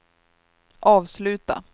avsluta